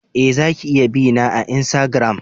Eh, za ki iya bi na a insagiram.